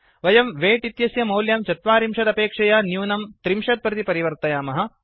वयं वेय्ट् इत्यस्य मौल्यं ४० अपेक्षया न्यूनं ३० प्रति परिवर्तयामः